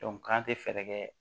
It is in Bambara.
k'an tɛ fɛɛrɛ kɛ